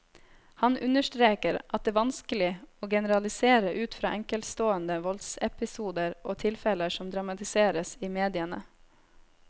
Han understreker at det vanskelig å generalisere ut fra enkeltstående voldsepisoder og tilfeller som dramatiseres i mediene.